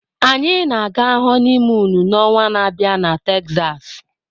Anyị na-aga honiimuunu na onwa na abịa na Texas.